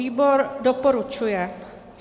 Výbor doporučuje.